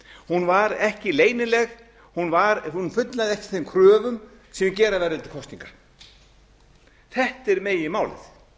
hún var ekki leynileg hún fullnægði ekki þeim kröfum sem gera verður til kosninga þetta er meginmálið